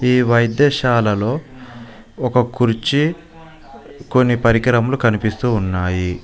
ఈ వైద్యశాలలో ఒక కుర్చీ కొన్ని పరికరములు కనిపిస్తూ ఉన్నాయి.